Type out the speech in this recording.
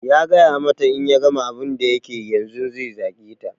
Ya gaya mata in ya gama abun da yake yanzun zai zage ta